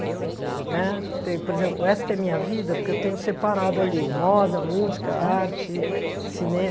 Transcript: Né tem por exemplo, Esta é Minha Vida, porque eu tenho separado ali moda, música, arte, cinema.